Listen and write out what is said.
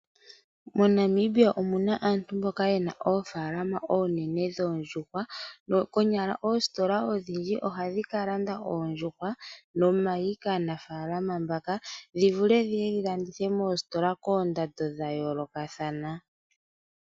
MoNamibia omu na aantu mboka ye na oofaalama oonene dhoondjuhwa. Konyala oositola odhindji ohadhi ka landa oondjuhwa nomayi kaanafaalama mbaka dhi vule dhi ye dhi landithwe moositola koondando dha yoolokathana.